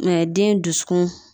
den dusukun